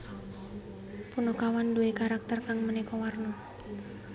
Punakawan duwè karakter kang manéka warna